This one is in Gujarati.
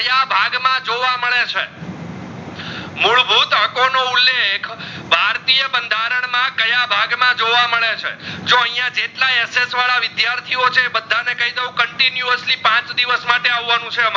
તકો નો ઉલ્લેખ ભરીયા ભાગ માં કયા બંધારણ માં જોવા મલે છે. જો અહીંયા જેટલાઈ SS વિદ્યાર્થીઓ છે બધા ને કઈ દાવ continuously પાચ દિવસ માટે અવનું છે આમાર